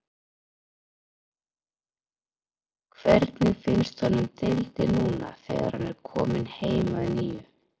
Hvernig finnst honum deildin núna þegar hann er kominn heim að nýju?